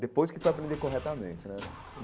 Depois que foi aprender corretamente, né?